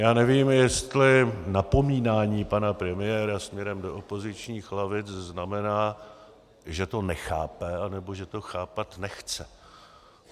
Já nevím, jestli napomínání pana premiéra směrem do opozičních lavic znamená, že to nechápe, anebo že to chápat nechce.